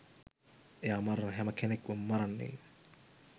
එයා මරන හැම කෙනෙක්වම මරන්නේ